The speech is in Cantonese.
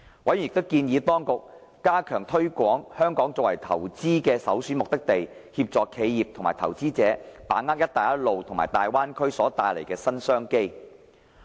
委員亦建議當局加強推廣香港作為投資的首選目的地，協助企業及投資者把握"一帶一路"和大灣區所帶來的新商機。